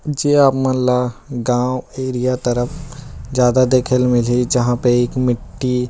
जे आप मन ला गांव एरिया तरफ ज्यादा देखे ल मिलहि जहाँ पे एक मिट्टी--